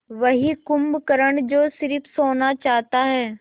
वही कुंभकर्ण जो स़िर्फ सोना चाहता है